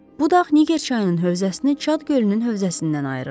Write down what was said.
Bu dağ Niger çayının hövzəsini Çad gölünün hövzəsindən ayırırdı.